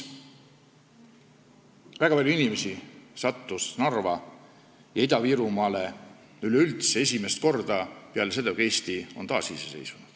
Väga paljud inimesed sattusid Narva ja Ida-Virumaale üleüldse esimest korda peale seda, kui Eesti taasiseseisvus.